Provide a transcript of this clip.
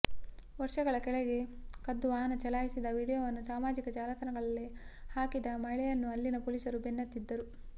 ವರ್ಷಗಳ ಕೆಳಗೆ ಕದ್ದು ವಾಹನ ಚಲಾಯಿಸಿದ ವಿಡಿಯೋವನ್ನು ಸಮಾಜಿಕ ಜಾಲತಾಣದಲ್ಲಿ ಹಾಕಿದ ಮಹಿಳೆಯನ್ನೂ ಅಲ್ಲಿನ ಪೊಲೀಸರು ಬೆನ್ನತ್ತಿದ್ದರು